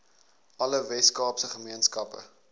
alle weskaapse gemeenskappe